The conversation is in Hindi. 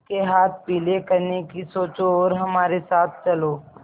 उसके हाथ पीले करने की सोचो और हमारे साथ चलो